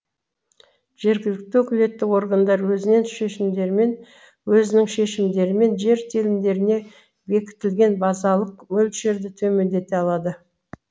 жергілікті өкілетті органдар өзінің шешімдерімен жер телімдеріне бекітілген базалық мөлшерді төмендете алады